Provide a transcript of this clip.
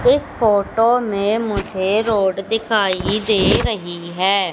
इस फोटो में मुझे रोड दिखाई दे रही है।